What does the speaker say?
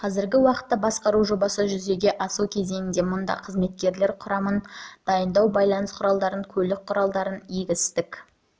қазіргі уақытта басқару жобасы жүзеге асу кезеңінде мұнда қызметкерлер құрамын дайындау байланыс құралдарын көлік құралдарын егістік